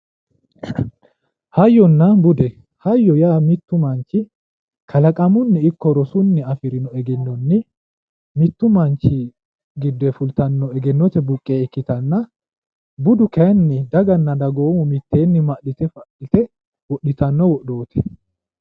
Hayyonna bude, hayyo yaa mittu manchi kalaqamunni ikko rosunni afi'rino egennonni mittu manchi fultanno egennote buqqe ikkitanna, budu kayiinni dagoomu mitteenni ma'lite fa'lite wodhitino wodhooti.